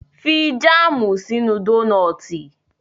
Fi jáàmù sínú dónọ́tì